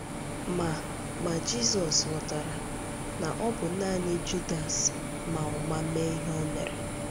Ma Ma Jizọs ghọtara na ọ bụ nanị Judas ma ụma mee ihe o mere.